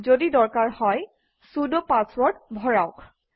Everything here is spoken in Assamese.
যদি দৰকাৰ হয় চুদ পাছৱৰ্ড ভৰাওক